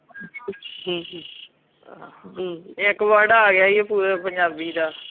ਬੀਜੀ ਹਾਂ ਇੱਕ ਆਗਯਾ ਈ ਪੂਰੇ ਪੰਜਾਬੀ ਦਾ